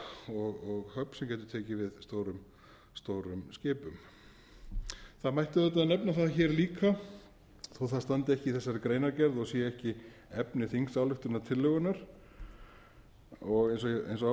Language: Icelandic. getur tekið við stórum skipum það mætti auðvitað nefna það hér líka þó það standi ekki í þessari greinargerð og sé ekki efni þingsályktunartillögunnar eins og ástæða er eins